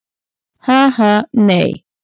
Ha, ha, nei.